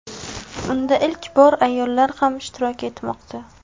Unda ilk bor ayollar ham ishtirok etmoqda.